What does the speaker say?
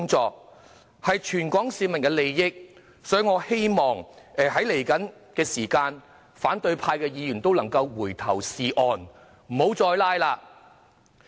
這是關乎全港市民的利益，所以，我希望在未來的時間，反對派議員能回頭是岸，不要再"拉布"。